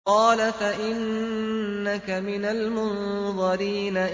قَالَ فَإِنَّكَ مِنَ الْمُنظَرِينَ